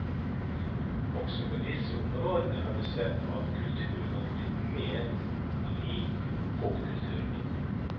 Også på disse områdene har vi sett at kulturen har blitt mer lik popkulturen.